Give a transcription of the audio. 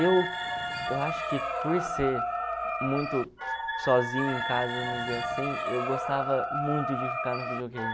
Eu eu acho que por ser muito sozinho em casa, vamos dizer assim, eu gostava muito de ficar no videogame.